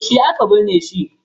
Yaushe aka binne shi?